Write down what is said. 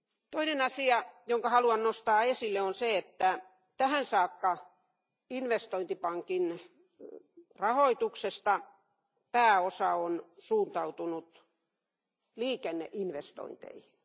Toinen asia, jonka haluan nostaa esille on se, että tähän saakka investointipankin rahoituksesta pääosa on suuntautunut liikenneinvestointeihin.